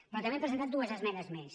però també hem presentat dues esmenes més